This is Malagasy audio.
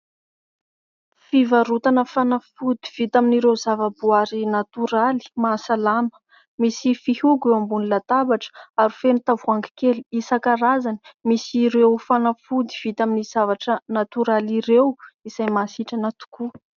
Fivarotana fanafody vita amin'ireo zava-boary natoraly mahasalama. Misy fihogo ambony latabatra ary feno tavoahangy kely isankarazany misy ireo fanafody vita amin'ny zavatra natoraly ireo izay mahasitrana tokoa.